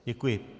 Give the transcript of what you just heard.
Děkuji.